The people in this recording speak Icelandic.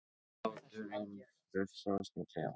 Hláturinn frussast um klefann.